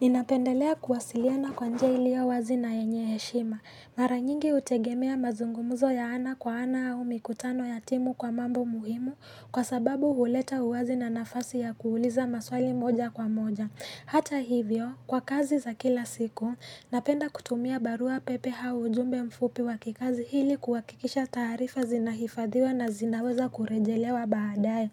Ninapendelea kuwasiliana kwa njia ilio wazi na yenye heshima. Mara nyingi hutegemea mazungumuzo ya ana kwa ana au mikutano ya timu kwa mambo muhimu kwa sababu huleta uwazi na nafasi ya kuuliza maswali moja kwa moja. Hata hivyo, kwa kazi za kila siku, napenda kutumia barua pepe au ujumbe mfupi wa kikazi ili kuwakikisha taarifa zinahifadhiwa na zinaweza kurejelewa baadae.